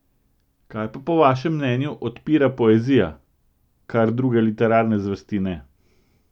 Kaj pa po vašem mnenju odpira poezija, kar druge literarne zvrsti ne?